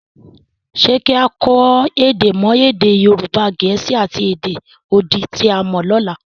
Ṣé kí á kọ́ èdè mọ́ èdè Yorùbá, Gẹ̀ẹ́sì, àti èdè odi tí a mọ lọ́la?